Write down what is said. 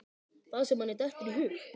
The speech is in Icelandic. Það sem manni dettur í hug!